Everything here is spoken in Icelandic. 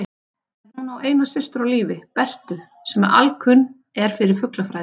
En hún á eina systur á lífi, Bertu, sem alkunn er fyrir fuglafræði.